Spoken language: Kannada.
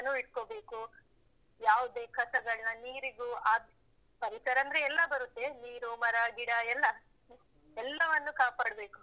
ಇಟ್ಕೊಬೇಕು. ಯಾವುದೇ ಕಸಗಳ್ನಾ ನೀರಿಗೂ ಹಾಕ್ ಪರಿಸರ ಅಂದ್ರೆ ಎಲ್ಲಾ ಬರುತ್ತೆ ನೀರು, ಮರ ಗಿಡ ಎಲ್ಲ. ಎಲ್ಲವನ್ನು ಕಾಪಾಡ್ಬೇಕು.